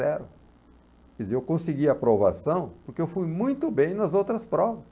zero. Quer dizer, eu consegui aprovação porque eu fui muito bem nas outras provas.